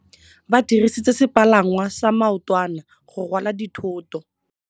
Ba dirisitse sepalangwasa maotwana go rwala dithôtô.